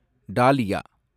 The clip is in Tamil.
டாலியா